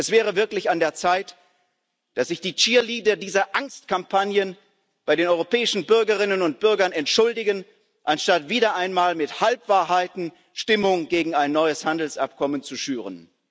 Es wäre wirklich an der Zeit, dass sich die cheerleader dieser Angstkampagnen bei den europäischen Bürgerinnen und Bürgern entschuldigen, anstatt wieder einmal mit Halbwahrheiten Stimmung gegen ein neues Handelsabkommen zu schüren.